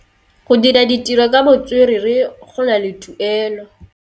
Go dira ditirô ka botswerere go na le tuelô.